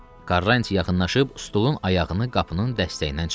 Karranti yaxınlaşıb stulun ayağını qapının dəstəyindən çıxartdı.